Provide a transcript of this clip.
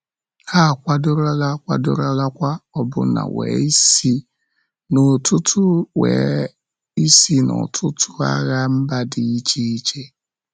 Ha akwadorola, kwadorolakwa, ọbụna were isi n’ọtụtụ were isi n’ọtụtụ agha mba dị iche iche.